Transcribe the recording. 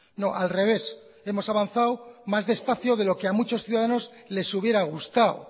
no al revés hemos avanzado más despacio de lo que a muchos ciudadanos les hubiera gustado